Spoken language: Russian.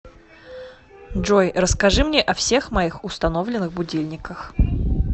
джой расскажи мне о всех моих установленных будильниках